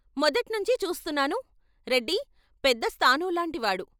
మొదట్నించి చూస్తున్నాను రెడ్డి పెద్ద స్థాణువులాంటి వాడు.